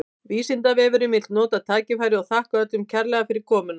Vísindavefurinn vill nota tækifærið og þakka öllum kærlega fyrir komuna!